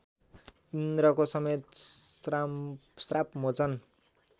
इन्द्रको समेत श्रापमोचन